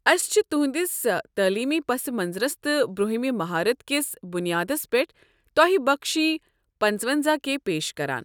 أسۍ چھ تہنٛدِس تعلیمی پس منظرس تہٕ برُنٛہمہ مہارت کِس بُنیادس پٮ۪ٹھ تۄہہِ بخوشی پنٔژونزاہ کے پیش کران۔